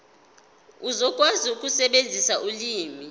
uzokwazi ukusebenzisa ulimi